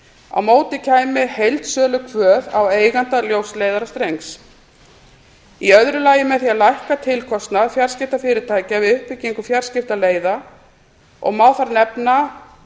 á móti kæmi heildsölukvöð á eiganda ljósleiðarastrengs í öðru lagi með því að lækka tilkostnað fjarskiptafyrirtækja við uppbyggingu fjarskiptaleiða og má þar nefna